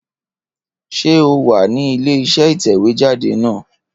Ṣé o wà ní ilé iṣẹ́ ìtẹ̀wéjáde náà?